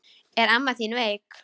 Er amma þín veik?